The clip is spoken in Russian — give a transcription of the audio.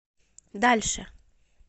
дальше